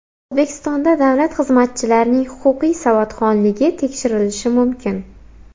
O‘zbekistonda davlat xizmatchilarining huquqiy savodxonligi tekshirilishi mumkin.